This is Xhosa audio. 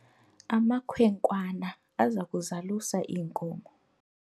amakhwenkwana aza kuzalusa iinkomo